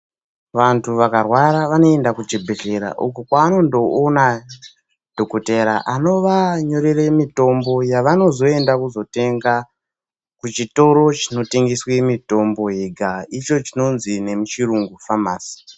Vantu vakarwara vanoenda kuzvibhedhlera uko kwananondoona dhokodheya anovanyorera mitombo yavanozoenda kotenda kuchitoro chinotengeswa mitombo icho chinonzi nemuchirungu famasi.